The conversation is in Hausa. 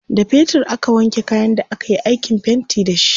da fetir aka wanke kayan da akayi aikin fainti da shi